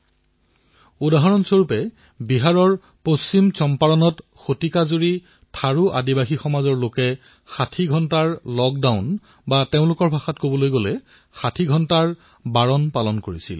যিদৰে বিহাৰৰ পশ্চিম চম্পাৰণত শতিকাজুৰি থাৰু আদিবাসী সমাজৰ লোকে ৬০ ঘণ্টাৰ লকডাউন অথবা তেওঁলোকৰ ভাষাত ৬০ ঘণ্টা কে বৰনা পালন কৰে